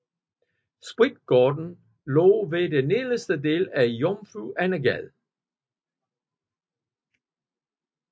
Spritgården lå ved den nederste del af Jomfru Ane Gade